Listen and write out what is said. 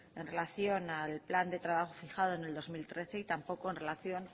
en relación al plan de trabajo fijado en dos mil trece y tampoco en relación